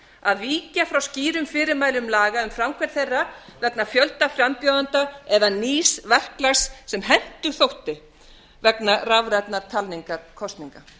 að víkja frá skýrum fyrirmælum laga en framkvæmd þeirra vegna fjölda frambjóðenda eða nýs verklags sem hentug þótti vegna rafrænnar talningar kosninga